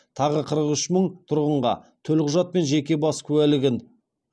тағы қырық үш мың тұрғынға төлқұжат пен жеке бас куәлігін